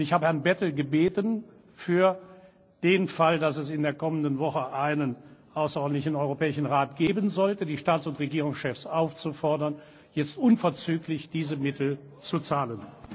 Und ich habe Herrn Bettel gebeten, für den Fall, dass es in der kommenden Woche eine außerordentliche Tagung des Europäischen Rates geben sollte, die Staats und Regierungschefs aufzufordern, jetzt unverzüglich diese Mittel zu zahlen.